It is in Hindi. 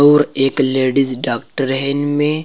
और एक लेडिज डॉक्टर है इनमें।